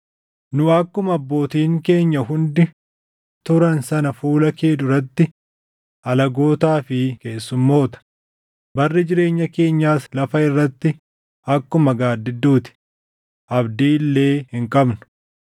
Nu akkuma abbootiin keenya hundi turan sana fuula kee duratti alagootaa fi keessummoota; barri jireenya keenyaas lafa irratti akkuma gaaddidduu ti; abdii illee hin qabnu.